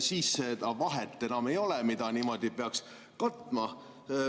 Siis seda vahet enam ei oleks, mida niimoodi peaks katma.